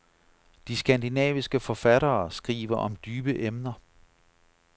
De skandinaviske forfattere skriver om dybe emner.